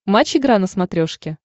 матч игра на смотрешке